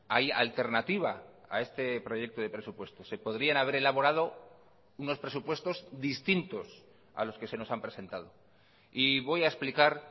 hay alternativa a este proyecto de presupuestos se podrían haber elaborado unos presupuestos distintos a los que se nos han presentado y voy a explicar